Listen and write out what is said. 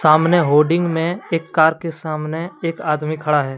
सामने होडिंग में एक कार के सामने एक आदमी खड़ा है।